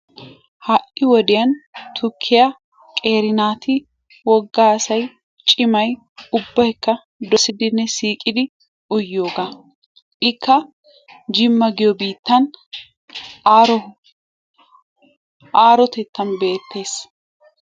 ha'i wodiyaan qeri naati wogga asay cimay ubbayka dossidinne siiqidi uyiyoogaa. Ikka jimma giyoo biittan aarottettan beettees.